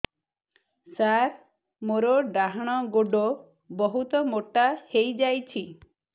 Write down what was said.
ସାର ମୋର ଡାହାଣ ଗୋଡୋ ବହୁତ ମୋଟା ହେଇଯାଇଛି